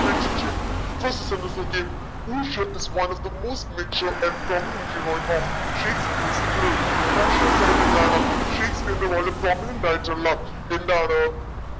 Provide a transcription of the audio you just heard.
mention ചെയ്യണം first sentence നോക്കിയേ പോഷിയ is one of the matured and prominent of പോഷിയ എന്ന് പറയുമ്പോ ഇണ്ടാവണം she is prominent ആയിട്ടുള്ള എന്താണ്